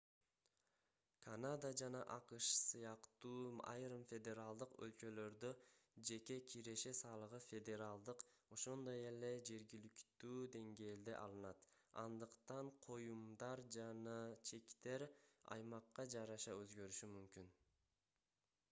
канада жана акш сыяктуу айрым федералдык өлкөлөрдө жеке киреше салыгы федералдык ошондой эле жергиликтүү деңгээлде алынат андыктан коюмдар жана чектер аймакка жараша өзгөрүшү мүмкүн